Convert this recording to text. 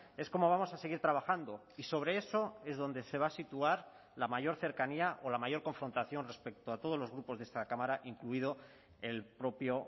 es como vamos a seguir trabajando y sobre eso es donde se va a situar la mayor cercanía o la mayor confrontación respecto a todos los grupos de esta cámara incluido el propio